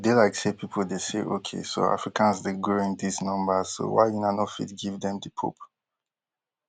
e dey like say pipo dey say okay so africans dey grow in these numbers so why una no fit give dem di pope